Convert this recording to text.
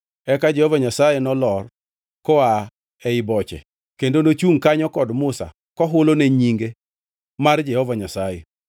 Eka Jehova Nyasaye nolor koa ei boche kendo nochungʼ kanyo kod Musa kohulone nyinge mar Jehova Nyasaye.